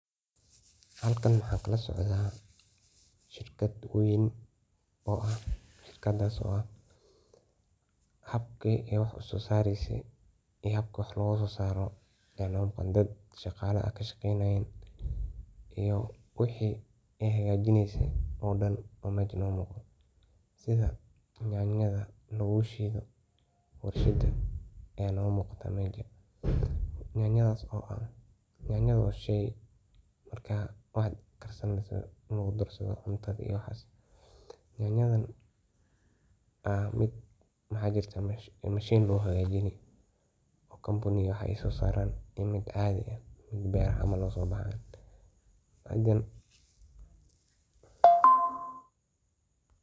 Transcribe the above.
Halkan waxan kalasocda shirkad weyn . Shirkad weyn, shirkadas oo ah waxa loo isticmala hawenka mugdiga ah iyo malinki qoraxda dacdo kadib dadka joga .Dadka hola daqatada ayaa zaid u isticmala ,oo meja naal iyo dab iyo waxas magarsisano ,toshkan ayaa markay xolaha duman iyo waxas si ay ogu radsadhan. Yanyadan aa mashin hagajini iyo miid beraha noga so bahan.